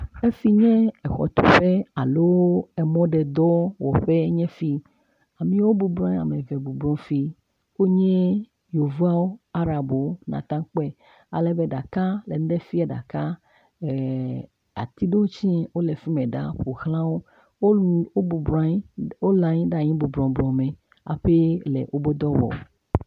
Teƒe si nye xɔtuƒe alo mɔɖedowɔƒe nye si. Ame bɔbɔ nɔ anyi ame eve bɔbɔ le fi. Wonye yevuawo, arabwo, nàte ŋu akpɔe ale be ɖeka ŋu nu ɖe fiam ɖeka ee ati ɖewo tsɛ wole fi ma, eɖe ƒo xlã wo. Wo nu wo bɔbɔ la anyi le anyi … hafi le woƒe dɔ wɔm.